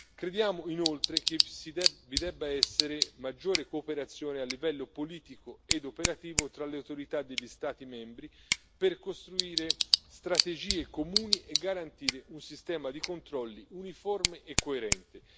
Crediamo, inoltre, che vi debba essere maggiore cooperazione a livello politico ed operativo tra le autorità degli Stati membri, per costruire strategie comuni e garantire un sistema di controlli uniforme e coerente.